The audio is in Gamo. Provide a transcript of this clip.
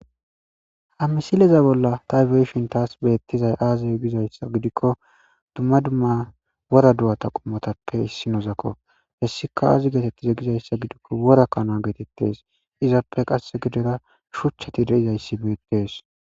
Ha misileza bolla tha be7ishin thaas beeththizay aazee gizayssa gidikko dumma dumma wora do7atha qommothappe issi nozakko; hessika aazi geetheththiza gizayssa gidikko wora kana geetheththees; izappe qasse giddora shuchchathi de7izayssi beeththees.